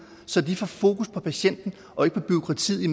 så vi får fokus på patienten og ikke på bureaukratiet i